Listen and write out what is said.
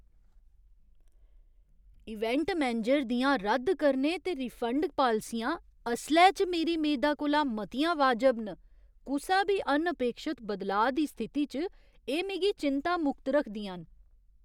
Event manager दियां रद्द करने ते रिफंड पालसियां असलै च मेरी मेदा कोला मतियां वाजब न। कुसै बी अनअपेक्षत बदलाऽ दी स्थिति च एह् मिगी चिंता मुक्त रखदियां न।